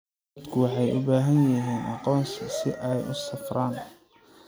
Dadku waxay u baahan yihiin aqoonsi si ay u safraan.